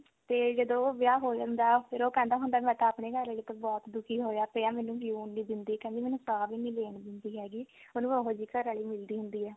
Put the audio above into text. ਤੇ ਜਦੋਂ ਉਹ ਵਿਆਹ ਹੋ ਜਾਂਦਾ ਫਿਰ ਉਹ ਕਹਿੰਦਾ ਹੁੰਦਾ ਵੀ ਮੈਂ ਤਾਂ ਆਪਣੀ ਘਰਵਾਲੀ ਤੋਂ ਬਹੁਤ ਦੁਖੀ ਹੋਇਆ ਪਿਆ ਮੈਨੂੰ ਜਿਉਣ ਨਹੀਂ ਦਿੰਦੀ ਕਹਿੰਦਾ ਮੈਨੂੰ ਸਾਂਹ ਵੀ ਨਹੀਂ ਲੈਣ ਦਿੰਦੀ ਹੈਗੀ ਉਹਨੂੰ ਉਹੋ ਜਿਹੀ ਘਰਵਾਲੀ ਮਿਲਦੀ ਹੁੰਦੀ ਆ